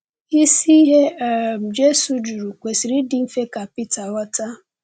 Isi ihe um Jésù jụrụ kwesịrị ịdị mfe ka Pita ghọta.